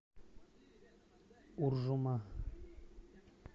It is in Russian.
уржума